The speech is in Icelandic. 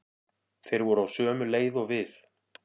Þeir voru á sömu leið og við.